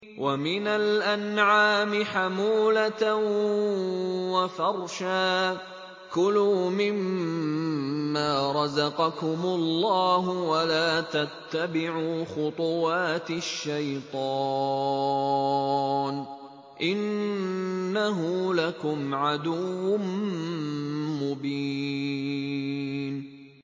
وَمِنَ الْأَنْعَامِ حَمُولَةً وَفَرْشًا ۚ كُلُوا مِمَّا رَزَقَكُمُ اللَّهُ وَلَا تَتَّبِعُوا خُطُوَاتِ الشَّيْطَانِ ۚ إِنَّهُ لَكُمْ عَدُوٌّ مُّبِينٌ